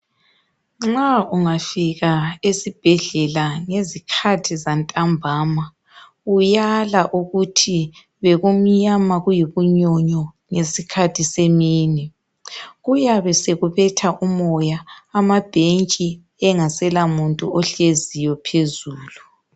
Nxa ungafika esibhedlela ngezikhathi zantambama uyala ukuthi bekumnyama bekuyibunyonyo ngesikhathi semini kuyabe sekubetha umoya amabhetshi engasela muntu ohleziyi phezulu.